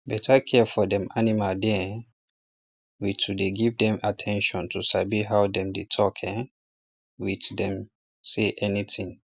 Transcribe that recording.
better care for dem animal dey um with to dey give dem at ten tion to sabi how dem dey talk um with um dem say anything